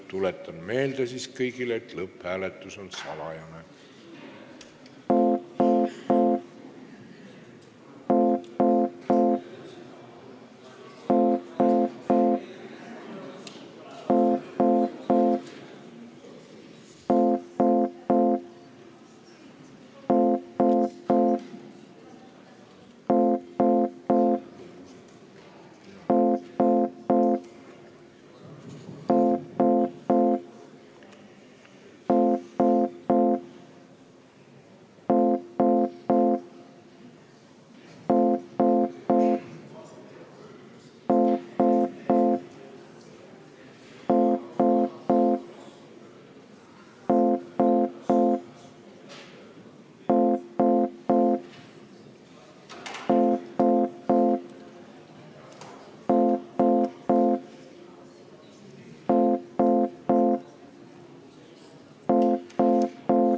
Tuletan kõigile meelde, et lõpphääletus on salajane.